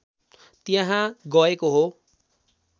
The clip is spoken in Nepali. त्यहाँ गएको हो